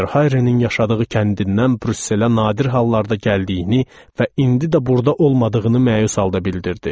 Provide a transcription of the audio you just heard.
Verhayrenin yaşadığı kəndindən Brüsselə nadir hallarda gəldiyini və indi də burda olmadığını məyus halda bildirdi.